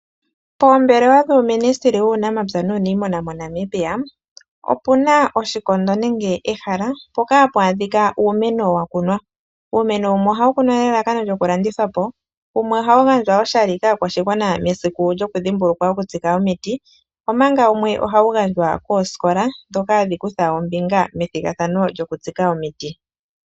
Poombelewa dhuu Ministry wuunamapya nuunimuna moNamibia, opu na oshikondo nenge ehala mpoka ha pu adhikwa uumeno wa ku nwa. Uumeno wumwe oha wu kunwa nelalakano lyo ku landithwa po, wumwe oha wu gandjwa oshali kaakwashigwana mesiku lyoku dhimbulukwa okutsika omiti, omanga wumwe oha wu gandjwa koosikola, dhoka hadhi kutha ombinga methigathano lyoku tsika omiti.